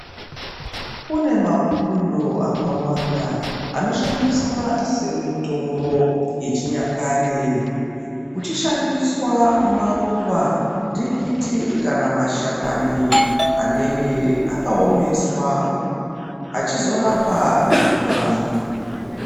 Kune mapundo akawanda anoshandiswa semitombo yechinyakare kuchishandiswa maruva, ntikiti kana mashakani anenge akaomeswa achizorapa mikuhlani.